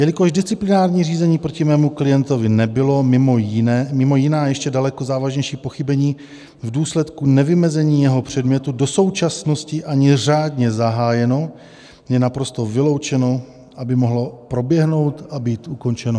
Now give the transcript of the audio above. Jelikož disciplinární řízení proti mému klientovi nebylo mimo jiná, ještě daleko závažnější pochybení v důsledku nevymezení jeho předmětu do současnosti ani řádně zahájeno, je naprosto vyloučeno, aby mohlo proběhnout a být ukončeno.